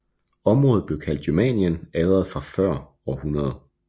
Området blev kaldt Germanien allerede før år 100